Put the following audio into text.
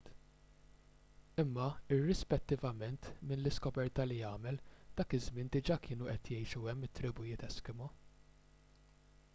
imma irrispettivament minn l-iskoperta li għamel dak iż-żmien diġà kienu qed jgħixu hemm it-tribujiet eskimo